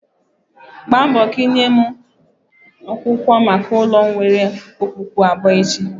Mgbambo ka ịnye m akwụkwọ maka ụlọ nwere okpukpu abụọ echi